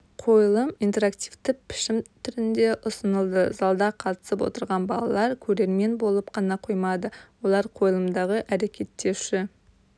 қойылым интерактивті пішім түрінде ұсынылды залда қатысып отырған балалар көрермен болып қана қоймады олар қойылымдағы әрекеттеуші